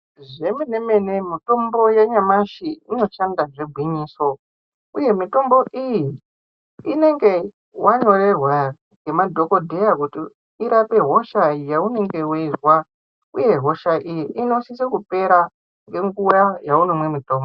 Zvemenemene mitombo yanyamashi inoshanda zvegwinyiso uye mitombo iyi inenge wanyorerwa ngemadhokodheya kuti irape hosha yaunenge weizwa .Uye hosha iyi inosise kupera ngenguwa dzaunomwe mutombo.